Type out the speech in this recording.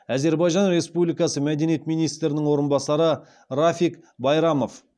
әзербайжан республикасы мәдениет министрінің орынбасары рафиг байрамов